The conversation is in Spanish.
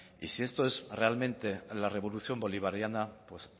y si esto es realmente la revolución bolivariana pues